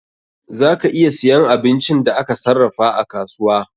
Za ka iya siyan abincin da aka sarrafa a kasuwa.